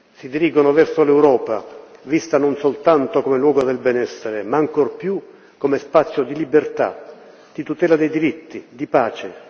Si dirigono verso l'Europa, vista non soltanto come luogo del benessere ma ancor più come spazio di libertà, di tutela dei diritti, di pace.